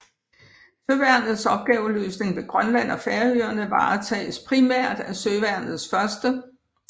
Søværnets opgaveløsning ved Grønland og Færøerne varetages primært af Søværnets 1